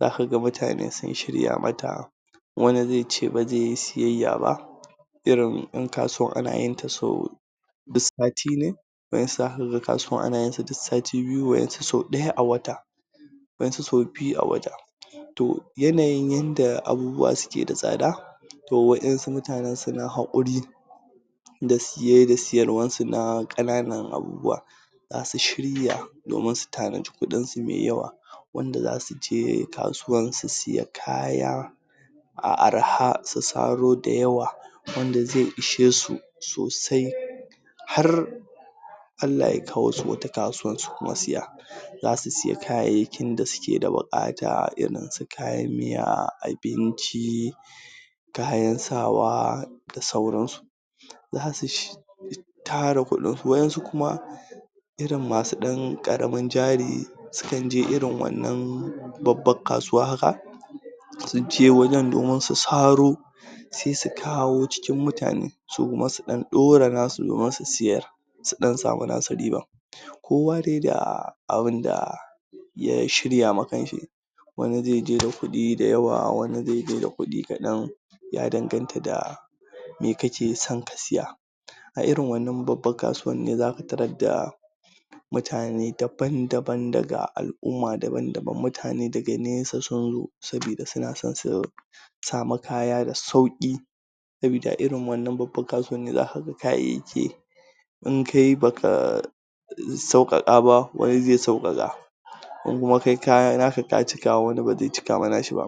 zaka ga mutane sun shirya mata wani zai ce ba zai yi siyayya ba irin in kasuwan ana yin sau duk sati ne, waƴansu zaka ga kasuwan ana yin su duk sati biyu, waƴansu sau ɗaya a wata waƴan su sau biyu a wata, to yanayin yadda abubuwa suke da tsada to waƴansu mutanen suna haƙuri da siye da siyarwan su na ƙananan abubuwa zasu shirya domin su tanadi kuɗin su mai yawa wanda zasu je kasuwan su siya kaya a arha su saro da yawa wanda zai ishe su sosai har Allah ya kawo su wata kasuwan su kuma siya, zasu siya kayayyakin da suke da buƙata irin su kayan miya, abinci kayan sa wa da sauran su, zasu tara kuɗin su waƴansu kuma irin masu dan ƙaramin jari sukan je irin wannan babban kasuwa haka sun je wajen domin su saro, se su kawo cikin mutane su kuma su ɗan ɗora nasu domin su siyar su ɗan samu nasu riban, kowa dai da abinda ya shirya ma kan shi wani zai je da kuɗi da yawa, wani zai je da kuɗi kaɗan ya danganta da me kake son ka siya a irin wanna babban kasuwan ne zaka tarar da mutane daban-daban daga al'umma daban-daban mutane daga nesa sun zo saboda suna son su samu kaya da sauƙi saboda a irin wannan babban kasuwan ne zaka ga kayayyaki in kai baka sauƙaƙa ba, wani zai sauƙaƙa ko kuma kai kaya naka ka cika, wani ba zai cika ma na shi ba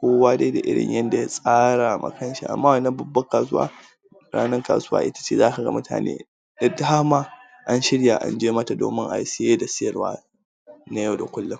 kowa dai da irin yadda ya tsara ma kan shi amma wannan babban kasuwa ranan kasuwa ita ce zaka ga mutane da dama an shirya an je mata domin a yi siye da siyarwa na yau da kullun.